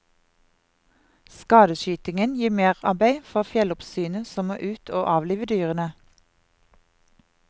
Skadeskytingen gir merarbeid for fjelloppsynet som må ut å avlive dyrene.